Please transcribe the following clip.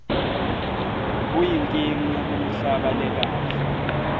kuyinkinga kumihlaba lekahle